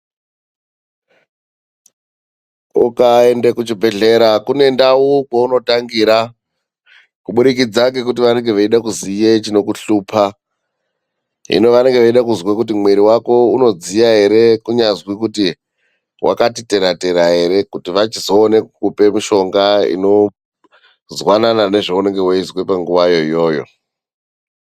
Ukaenda kuchibhedhlera kune ndau kwaunotangira kuburikidza yekuti vanenge vachida kuziva chinokushupa hino vanenge vachida kuziva kuti muviri wako unodziya here kana kuti wakati tera -tera here kuti vazokwanisa kupa mushonga zwanana nezvauri kunzwa panguva yacho iyoyo.